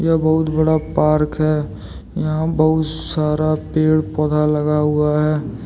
ये बहुत बड़ा पार्क है। यहाँ बहुत सारा पेड़- पौधा लगा हुआ है।